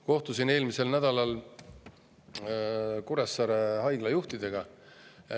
Kohtusin eelmisel nädalal Kuressaare Haigla juhtidega.